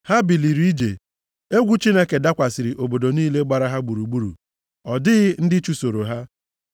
Ha biliri ije. Egwu Chineke dakwasịrị obodo niile gbara ha gburugburu. Ọ dịghị ndị chụsoro ha.